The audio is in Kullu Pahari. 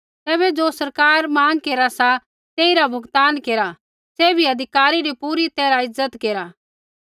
तैबै ज़ो सरकार माँग केरा सा तेइरा भुगतान केरा सैभी अधिकारी री पूरी तैरहा इज्ज़त केरा